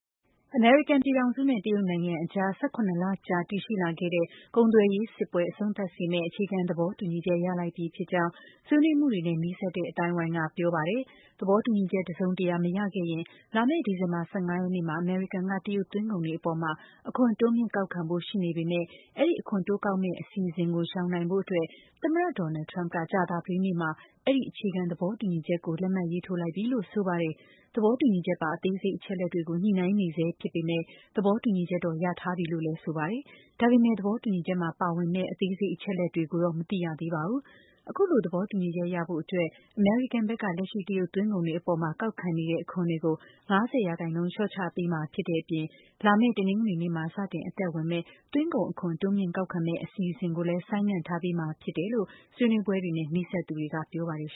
အမေရိကန်ပြည်ထောင်စုနဲ့ တရုတ်နိုင်ငံအကြား ၁၇ လကြာ တည်ရှိလာခဲ့တဲ့ ကုန်သွယ်ရေးစစ်ပွဲ အဆုံးသတ်စေမယ့် အခြေခံသဘောတူညီချက် ရလိုက်ပြီဖြစ်ကြောင်း ဆွေးနွေးမှုတွေနဲ့ နီးစပ်တဲ့အသိုင်းဝိုင်းက ပြောပါတယ်။ သဘောတူညီချက် တစုံတရာမရခဲ့ရင် လာမယ့် ဒီဇင်ဘာ ၁၅ ရက်နေ့မှာ အမေရိကန်က တရုတ်သွင်းကုန်တွေအပေါ် အခွန်တိုးမြင့်ကောက်ခံဖို့ ရှိနေပေမယ့် အဲဒီ အခွန်တိုး ကောက်မယ့်အစီအစဉ်ကို ရှောင်ရှားနိုင်ဖို့ သမ္မတ Donald Trump က ကြာသပတေးနေ့မှာ အဲဒီ အခြေခံသဘောတူညီချက်ကို လက်မှတ်ထိုးလိုက်ပြီလို့ ဆိုပါတယ်။ သဘောတူညီချက်ပါ အသေးစိတ်အချက်အလက်တွေကို ညှိနှိုင်းနေဆဲဖြစ်ပေမယ့် သဘောတူညီချက်တော့ ရထားပြီလို့ ဆိုပါတယ်။ ဒါပေမယ့် သဘောတူညီချက်ထဲမှာ ပါဝင်တဲ့ အသေးစိတ်အချက်အလက်တွေတော့ မသိရသေးပါဘူး။ အခုလို သဘောတူညီချက်ရဖို့အတွက် အမေရိကန်ဘက်က လက်ရှိ တရုတ်သွင်းကုန်တွေအပေါ် ကောက်ခံနေတဲ့ အခွန်တွေကို ၅၀% လျော့ချပေးမှာဖြစ်တဲ့အပြင် လာမယ့် တနင်္ဂနွေနေ့မှာ စတင် အသက်ဝင်မယ့် သွင်းကုန်အခွန် တိုးမြင့်ကောက်ခံမယ့် အစီအစဉ်ကိုလည်း ဆိုင်းငံ့ထားပေးမှာဖြစ်တယ်လို့ ဆွေးနွေးပွဲတွေနဲ့နီစပ်သူတွေက ပြောပါတယ်